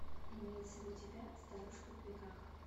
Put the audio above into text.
имеется ли у тебя старушка в бегах